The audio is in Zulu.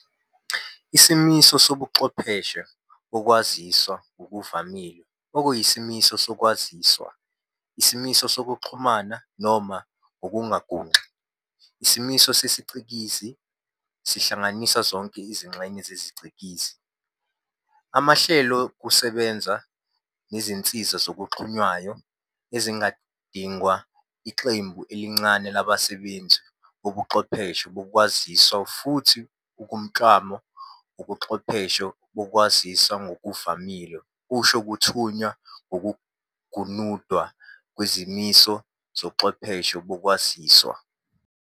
Isimiso sobuchwepheshe bokwaziswa ngokuvamile okuyisimiso sokwaziswa, isimiso sekuxhumana, noma ngokungagunci, isimiso sesiCikizi - sihlanganisa zonke izingxenye zesicikizi, amahlelokusebenza, nezinsiza ezixhunywayo - ezigidingwa iqembu elincane labasebenzisi bobuchwepheshe bokwaziswa, futhi umklamo wobuchwepheshe bokwaziswa ngokuvamile usho ukuthunywa nokugunundwa kwesimiso sobuchwepheshe bokwaziswa.